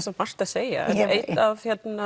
svo margt að segja eitt af